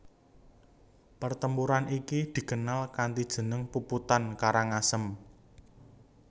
Pertempuran iki dikenal kanthi jeneng Puputan Karangasem